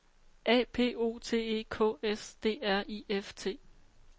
A P O T E K S D R I F T